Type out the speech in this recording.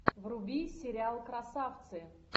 вруби сериал красавцы